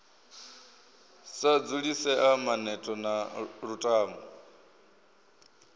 sa dzulisea maneto na lutamo